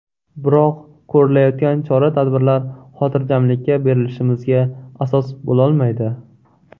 Biroq ko‘rilayotgan chora-tadbirlar xotirjamlikka berilishimizga asos bo‘lolmaydi”.